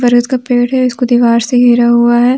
बरगद का पेड़ है इसको दीवार से घेरा हुआ हैं।